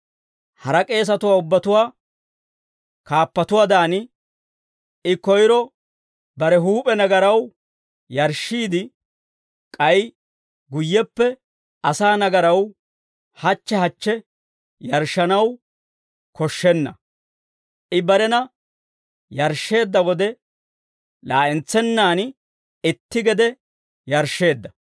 Hara k'eesatuwaa ubbatuwaa kaappatuwaadan, I koyro bare huup'e nagaraw yarshshiide, k'ay guyyeppe asaa nagaraw hachche hachche yarshshanaw koshshenna; I barena yarshsheedda wode, laa'entsennaan itti gede yarshsheedda.